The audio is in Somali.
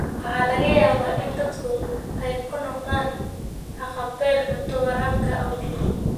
Waxaa laga yaabaa in dadku ay ku noqdaan haqab-beel cunto waraabka awgeed.